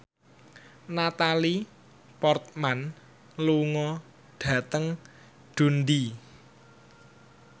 Natalie Portman lunga dhateng Dundee